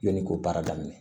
Yanni k'o baara daminɛ